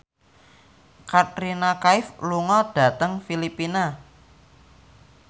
Katrina Kaif lunga dhateng Filipina